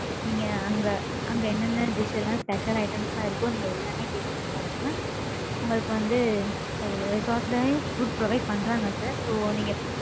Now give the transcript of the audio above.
நீங்க, அங்க, அங்க என்னென்ன dish எல்லாம் special items ஆ இருக்கோ, நீங்க எல்லாமே taste பண்ணிப் பார்க்கலாம். உங்களுக்கு வந்து, resort லயும், food provide பண்றாங்க, sir. So நீங்க,